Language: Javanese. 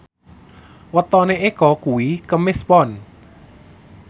wetone Eko kuwi Kemis Pon